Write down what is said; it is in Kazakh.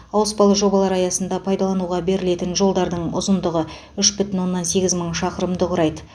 ауыспалы жобалар аясында пайдалануға берілетін жолдардың ұзындығы үш бүтін оннан сегіз мың шақырымды құрайды